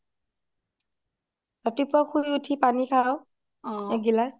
ৰাতি পোৱা শুই উঠি পানী খাও অ এখিলাছ